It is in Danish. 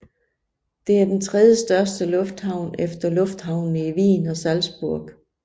Den er den tredjestørste lufthavn efter lufthavnene i Wien og Salzburg